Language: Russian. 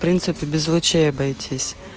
принципе без лучей обойтись